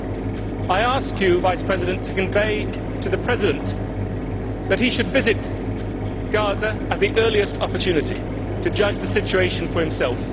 Mr President, I ask you to convey to the President that he should visit Gaza at the earliest opportunity to judge the situation for himself.